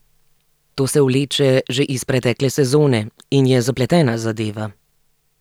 To se vleče že iz pretekle sezone in je zapletena zadeva.